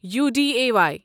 Uday